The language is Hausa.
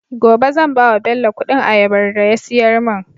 gobe zan bawa bello Ƙudin ayabar da ya siyar mun